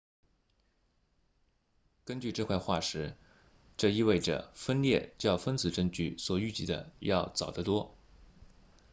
根据这块化石这意味着分裂较分子证据所预计的要早得多